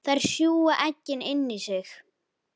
Þær sjúga eggin inn í sig.